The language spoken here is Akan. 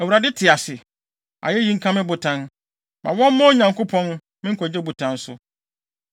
“ Awurade te ase! Ayeyi nka me botan, ma wɔmma Onyankopɔn, me nkwagye botan so.